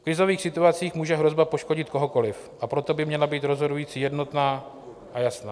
V krizových situacích může hrozba poškodit kohokoli, a proto by měla být rozhodující jednotná a jasná.